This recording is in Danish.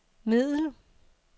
middel